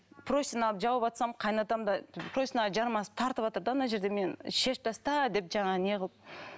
простыня алып жауыватсам қайын атам да простыняға жармасып тартыватыр да ана жерде мен шешіп таста деп жаңағы не қылып